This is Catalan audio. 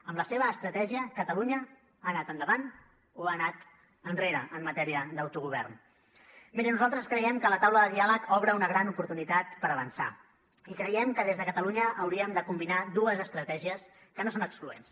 amb la seva estratègia catalunya ha anat endavant o ha anat enrere en matèria d’autogovern miri nosaltres creiem que la taula de diàleg obre una gran oportunitat per avançar i creiem que des de catalunya hauríem de combinar dues estratègies que no són excloents